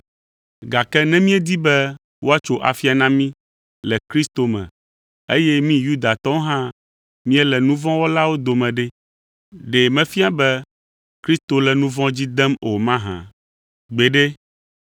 “Gake ne míedi be woatso afia na mí le Kristo me eye mí Yudatɔwo hã míele nu vɔ̃ wɔlawo dome ɖe, ɖe mefia be Kristo le nu vɔ̃ dzi dem o mahã? Gbeɖe!